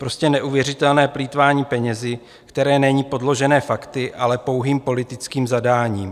Prostě neuvěřitelné plýtvání penězi, které není podložené fakty, ale pouhým politickým zadáním.